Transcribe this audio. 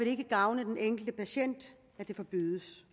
ikke gavne den enkelte patient at det forbydes